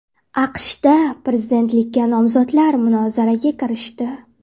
AQShda prezidentlikka nomzodlar munozaraga kirishdi.